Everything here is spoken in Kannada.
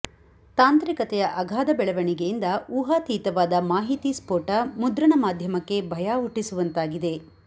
ತಾಂತ್ರಿಕತೆಯ ಅಗಾಧ ಬೆಳವಣಿಗೆಯಿಂದ ಉಹಾತೀತವಾದ ಮಾಹಿತಿ ಸ್ಫೋಟ ಮುದ್ರಣಮಾಧ್ಯಮಕ್ಕೆ ಭಯ ಹುಟ್ಟಿಸುವಂತಾಗಿದೆ